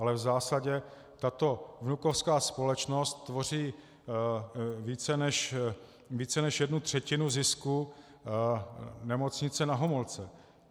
Ale v zásadě tato vnukovská společnost tvoří více než jednu třetinu zisku Nemocnice Na Homolce.